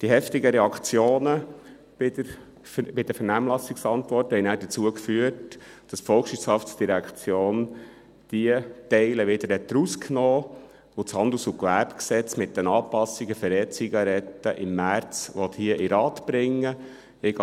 Die heftigen Reaktionen bei den Vernehmlassungsantworten haben nachher dazu geführt, dass die VOL diese Teile wieder herausgenommen hat und das Gesetz über Handel und Gewerbe (HGG) mit den Anpassungen für E-Zigaretten im März hier in den Rat bringen will.